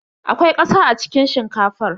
Akwai ƙasa a cikin shinkafar.